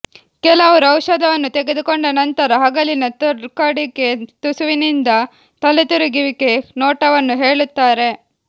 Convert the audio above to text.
ಕೆಲವರು ಔಷಧವನ್ನು ತೆಗೆದುಕೊಂಡ ನಂತರ ಹಗಲಿನ ತೂಕಡಿಕೆ ತುಸುವಿನಿಂದ ತಲೆತಿರುಗುವಿಕೆ ನೋಟವನ್ನು ಹೇಳುತ್ತಾರೆ